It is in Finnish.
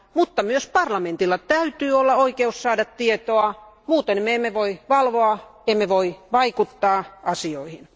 Mutta myös parlamentilla täytyy olla oikeus saada tietoa, muuten me emme voi valvoa, emme voi vaikuttaa asioihin.